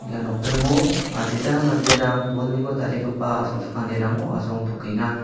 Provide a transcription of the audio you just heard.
ia nokdringo adita manderang bolniko tarigipa asongchakanirango asongtokenga.